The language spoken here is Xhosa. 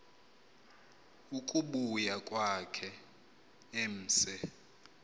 ukubuya kwakhe emse